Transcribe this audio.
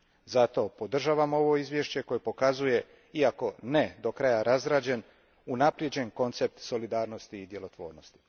Zato podržavam ovo izvješće koje pokazuje, iako ne do kraja razrađen, unaprijeđen koncept solidarnosti i djelotvornosti.